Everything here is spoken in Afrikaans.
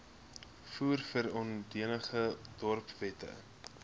voer verordeninge dorpswette